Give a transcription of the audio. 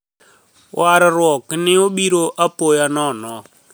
Warruok ni e obiro apoya nono.